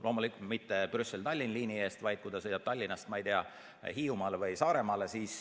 Loomulikult mitte Brüsseli–Tallinna liini eest, vaid siis, kui ta sõidab Tallinnast, ma ei tea, Hiiumaale või Saaremaale.